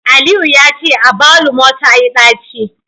Aliyu yace agbaluma tayi daci